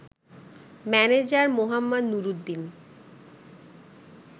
manager মোঃ নুরুদ্দিন